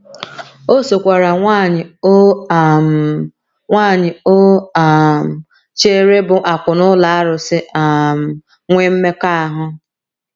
O sokwaara nwanyị o um nwanyị o um chere bụ́ akwụna ụlọ arụsị um nwee mmekọahụ.